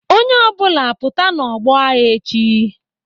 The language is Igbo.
Onye ọ bụla pụta n'ọgbọ agha echi!